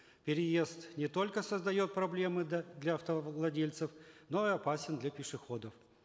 переезд не только создает проблемы для автовладельцев но и опасен для пешеходов